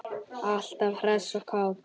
Alltaf hress og kát.